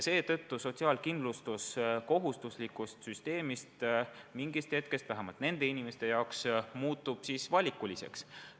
Seetõttu muutub sotsiaalkindlustus kohustusliku süsteemi asemel mingist hetkest – vähemalt nende inimeste jaoks – valikuliseks.